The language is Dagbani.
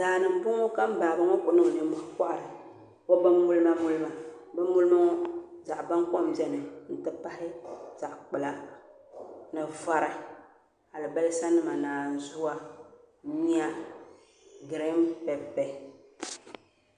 daa ni m-bɔŋɔ ka ba ŋɔ kuli niŋ nimmɔhi n-kɔhira o bimmulimamulima bimmulima ŋɔ zaɣ' baŋkom beni nti pahi zaɣ' kpula ni vari alibalisanima naanzua nyuya girin pɛpɛ